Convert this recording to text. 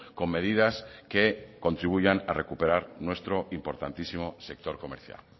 con medidas que contribuyan a recuperar nuestro importantísimo sector comercial